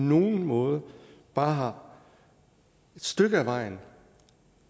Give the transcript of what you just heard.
nogen måde bare et stykke af vejen